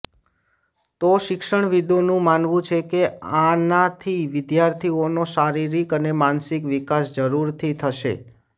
તો શિક્ષણવિદોનું માનવું છે કે આનાંથી વિદ્યાર્થીઓનો શારીરિક અને માનસિક વિકાસ જરૂરથી થશે